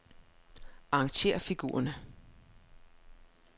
Arrangér figurerne.